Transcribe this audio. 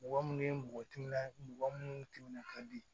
Mɔgɔ minnu ye mɔgɔ timinan mɔgɔ minnu timinan ka di